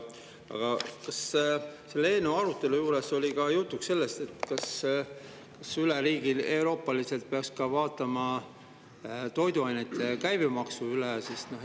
Aga kas selle eelnõu arutelul oli ka jutuks, kas üleeuroopaliselt peaks vaatama üle ka toiduainete käibemaksu?